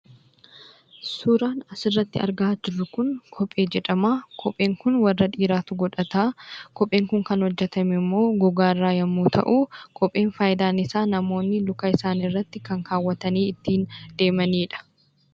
Suuraan asirratti argaa jirru kun, kophee jedhama. Kopheen kun warra dhiiraatu godhata. Kopheen kun kan hojjatame immoo gogaa irraa yemmuu ta'u, kopheen faayidaan isaa namoonni luka isaaniirratti kan kaawwatanii ittiin deemaniidha.